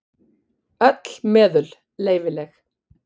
Öll meðul leyfileg.